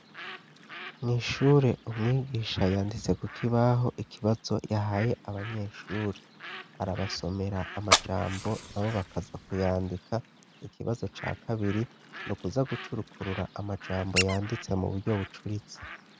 Mw'ishure umwigisha yanditse kukibaho ikibazo yahaye abanyeshure, arabasomera amajambo na bo bakaza kuyandika ikibazo ca kabiri ni ukuza gucurukurura amajambo yanditse mu buryo bucuritse.